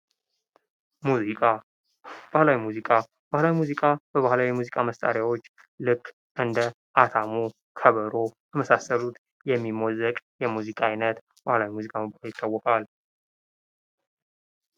ሙዚቃ ባህላዊ ሙዚቃ በባህላዊ የሙዚቃ መሳሪያዎች ልክ እንደ አታሞ የሚሞዘቅ የሙዚቃ አይነት ነው